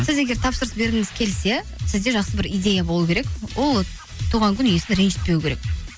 сіз егер тапсырыс бергіңіз келсе сізде жақсы бір идея болу керек ол туған күн иесін ренжітпеу керек